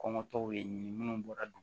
Kɔngɔtɔw ye minnu bɔra